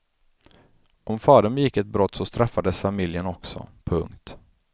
Om fadern begick ett brott så straffades familjen också. punkt